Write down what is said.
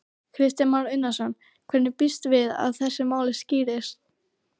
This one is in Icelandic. Kristján Már Unnarsson: Hvenær býstu við að þessi mál skýrist?